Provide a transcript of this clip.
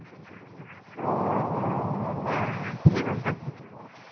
অ, বাহ, আজিহে গম পাইছো।